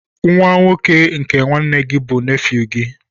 Nwa nwoke nke nwanne gị bụ nefew gị.